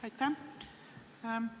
Aitäh!